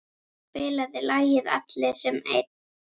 Elva, spilaðu lagið „Allir sem einn“.